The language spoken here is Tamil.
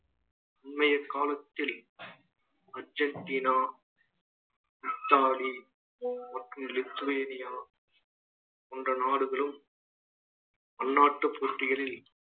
இன்னைய காலத்தில் அர்ஜென்டினா, இத்தாலி மற்றும் லுத்வேனியா போன்ற நாடுகளும் அந்நாட்டு போட்டிகளில்